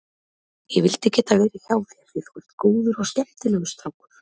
Ég vildi geta verið hjá þér því þú ert góður og skemmtilegur strákur.